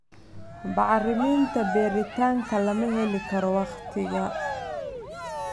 Bacriminta beeritaanka lama heli karo wakhtiga.